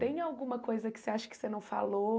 Tem alguma coisa que você acha que você não falou?